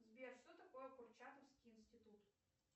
сбер что такое курчатовский институт